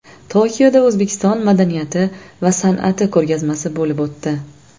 Tokioda O‘zbekiston madaniyati va san’ati ko‘rgazmasi bo‘lib o‘tdi.